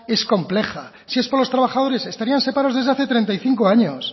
es compleja si es por los trabajadores estarían separados desde hace treinta y cinco años